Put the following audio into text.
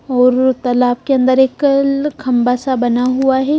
और तालाब के अंदर एकल खंबा सा बना हुआ है।